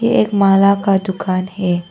एक माला का दुकान है।